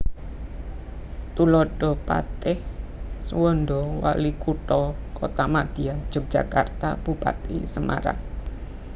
Tuladha Patih Suwanda Walikutha Kuthamadya Yogyakarta Bupati Semarang